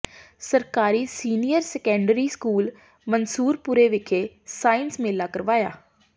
ਸਰਕਾਰੀ senior secondary school Mansurpur ਵਿਖੇ science ਮੇਲਾ ਕਰਵਾਇਆ